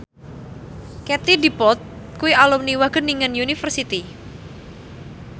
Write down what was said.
Katie Dippold kuwi alumni Wageningen University